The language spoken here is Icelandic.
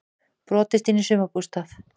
Brotist inn í sumarbústað